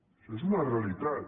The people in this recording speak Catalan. això és una realitat